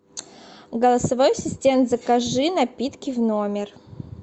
голосовой ассистент закажи напитки в номер